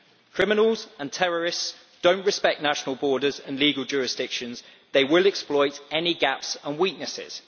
Criminals and terrorists do not respect national borders and legal jurisdictions they will exploit any gaps and weaknesses.